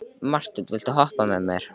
Marthen, viltu hoppa með mér?